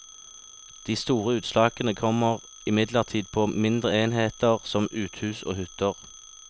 De store utslagene kommer imidlertid på mindre enheter som uthus og hytter.